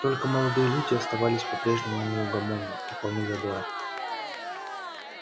только молодые люди оставались по-прежнему неугомонны и полны задора